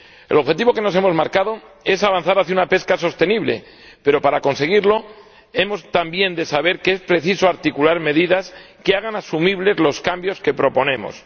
El objetivo que nos hemos marcado es avanzar hacia una pesca sostenible, pero, para conseguirlo, hemos de saber también que es preciso articular medidas que hagan asumibles los cambios que proponemos.